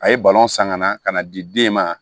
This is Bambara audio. A ye san ka na ka na di den ma